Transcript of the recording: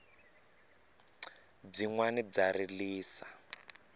byinwani bya rilisa